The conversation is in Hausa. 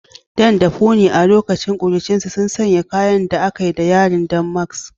Dan da Funmi, a lokacin kuruciyarsu, sun sanya kayan da akai da yadin damask.